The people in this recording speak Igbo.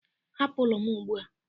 hapụ ụlọ m ugbu a!